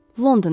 Londona.